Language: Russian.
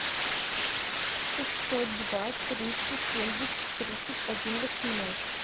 шестьсот два триста семьдесят тридцать один восемнадцать